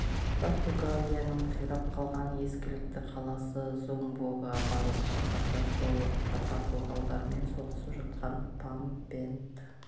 португалияның қирап қалған ескілікті қаласы зумбогға бару қаңтарда сол уақытта португалдармен соғысып жатқан пампенд